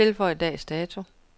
Tilføj dags dato.